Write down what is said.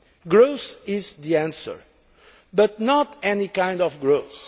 Growth is the answer, but not any kind of growth.